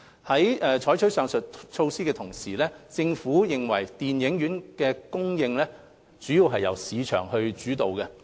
在採取上述措施的同時，政府認為電影院的供應主要是由市場主導。